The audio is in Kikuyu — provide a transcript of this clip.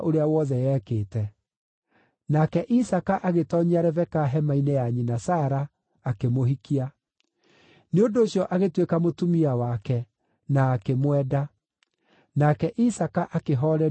Nake Isaaka agĩtoonyia Rebeka hema-inĩ ya nyina Sara, akĩmũhikia. Nĩ ũndũ ũcio agĩtuĩka mũtumia wake, na akĩmwenda; nake Isaaka akĩhoorerio ihooru rĩa gĩkuũ kĩa nyina.